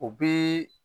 O bi